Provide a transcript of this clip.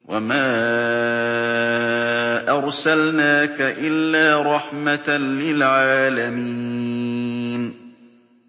وَمَا أَرْسَلْنَاكَ إِلَّا رَحْمَةً لِّلْعَالَمِينَ